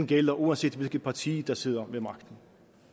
gælder uanset hvilket parti der sidder ved magten